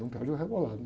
Não perde o rebolado.